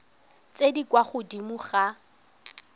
tse di kwa godimo ga